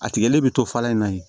A tigɛlen bɛ to falan in na yen